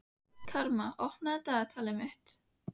Karma, opnaðu dagatalið mitt.